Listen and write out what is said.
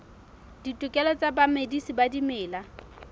ditokelo tsa bamedisi ba dimela